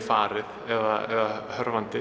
farið eða